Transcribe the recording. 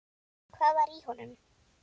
Hvað var í honum?